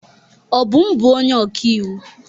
Obum bụ onye ọkaiwu.